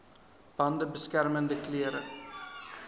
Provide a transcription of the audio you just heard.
bande beskermende klere